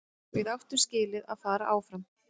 Við áttum skilið að fara áfram.